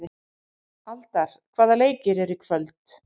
Aldar, hvaða leikir eru í kvöld?